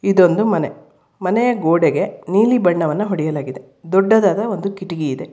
ಇದೊಂದು ಮನೆ ಮನೆಯ ಗೋಡೆಗೆ ನೀಲಿ ಬಣ್ಣವನ್ನು ಹೊಡೆಯಲಾಗಿದೆ ದೊಡ್ಡದಾದ ಒಂದು ಕಿಟಕಿ ಇದೆ.